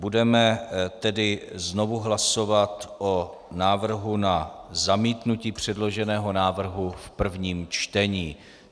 Budeme tedy znovu hlasovat o návrhu na zamítnutí předloženého návrhu v prvním čtení.